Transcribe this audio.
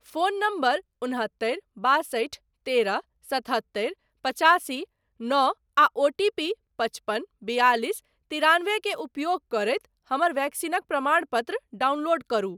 Phone number उन्हत्तरि बासठि तेरह सतहत्तरि पचासी नओ आ ओटीपी पचपन बियालिस तिरानबे के उपयोग करैत हमर वैक्सीनक प्रमाणपत्र डाउनलोड करु।